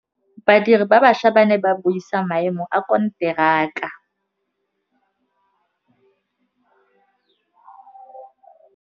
Badiri ba baša ba ne ba buisa maêmô a konteraka.